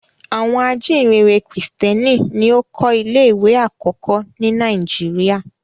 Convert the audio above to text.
Àwọn ajíǹrere Kìrìtẹ́ẹ́nì ni ó kọ́ ilé-ìwé àkọ́kọ́ ní Nàìjíríà.